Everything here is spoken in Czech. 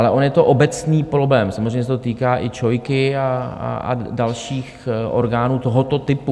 Ale on je to obecný problém, samozřejmě se to týká i ČOI a dalších orgánů tohoto typu.